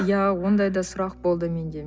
иә ондай да сұрақ болды менде